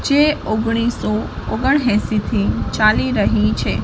જે ઓગણીસસો ઓગણ એંસી થી ચાલી રહી છે.